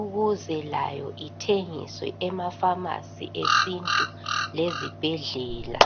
ukuze layo ithengiswe ema pharmacy esintu lezibhedlela.